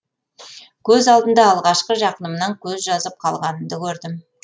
көз алдымда алғашқы жақынымнан көз жазып қалғанымды көрдім